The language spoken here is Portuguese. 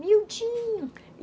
Miudinho...